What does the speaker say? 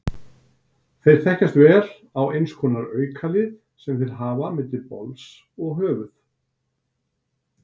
Þeir þekkjast vel á eins konar aukalið sem þeir hafa milli bols og höfuð.